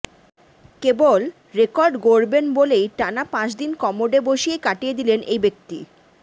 কেবল record গড়বেন বলেই টানা পাঁচদিন কমোডে বসেই কাটিয়ে দিলেন এই ব্যক্তি